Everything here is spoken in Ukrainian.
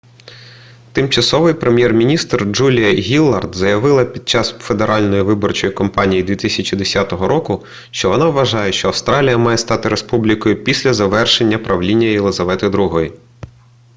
тимчасовий прем'єр-міністр джулія гіллард заявила під час федеральної виборчої кампанії 2010 року що вона вважає що австралія має стати республікою після завершення правління єлізавети іі